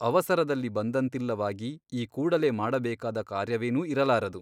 ಅವಸರದಲ್ಲಿ ಬಂದಂತಿಲ್ಲವಾಗಿ ಈ ಕೂಡಲೇ ಮಾಡಬೇಕಾದ ಕಾರ್ಯವೇನೂ ಇರಲಾರದು.